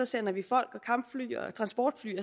sender vi folk og kampfly og transportfly af